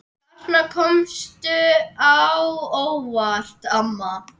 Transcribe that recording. Þarna komstu á óvart, amma.